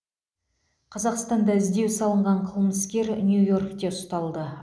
қазақстанда іздеу салынған қылмыскер нью йоркте ұсталды